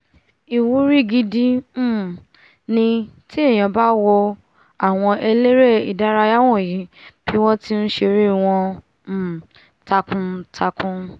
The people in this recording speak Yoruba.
ìwúrí gidi um ni tí ènìà bá nwo àwọn eléré ìdárayá wọ̀nyí bí wọ́n ti nṣeré wọn um takuntakun